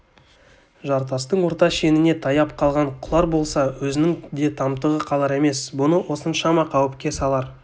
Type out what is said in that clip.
жартастың орта шеніне таяп қалған құлар болса өзінің де тамтығы қалар емес бұны осыншама қауіпке салар